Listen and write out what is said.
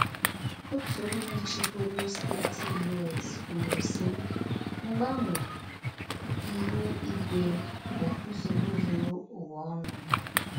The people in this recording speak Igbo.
Otu onye chịburu steeti U.S kwuru sị: “ Mgbanwe ihu ígwé bụ nsogbu zuru ụwa ọnụ. ”